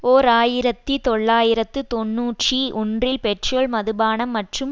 ஓர் ஆயிரத்தி தொள்ளாயிரத்து தொன்னூற்றி ஒன்றில் பெட்ரோல் மதுபானம் மற்றும்